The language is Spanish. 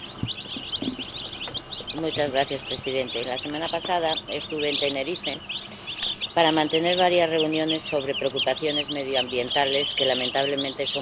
Señor presidente, la semana pasada estuve en Tenerife para mantener varias reuniones sobre preocupaciones medioambientales que, lamentablemente, son muchas en las islas.